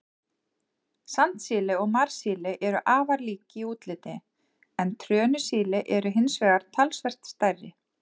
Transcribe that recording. Sandsíli og marsíli eru afar lík í útliti, en trönusíli eru hins vegar talsvert stærri.